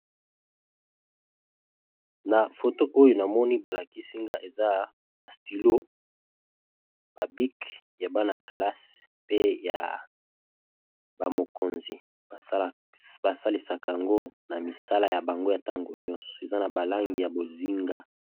Na foto oyo na moni ba lakisi nga eza ba stilo, ba bic ya bana-kalasi pe ya ba mokonzi ba salisaka yango na misala ya bango ya ntango nyonso eza na ba langi ya bozinga.